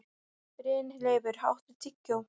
Brynleifur, áttu tyggjó?